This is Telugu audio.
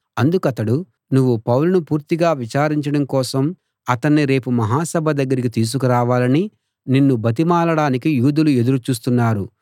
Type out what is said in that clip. అందుకతడు నువ్వు పౌలును పూర్తిగా విచారించడం కోసం అతణ్ణి రేపు మహాసభ దగ్గరికి తీసుకురావాలని నిన్ను బతిమాలడానికి యూదులు ఎదురు చూస్తున్నారు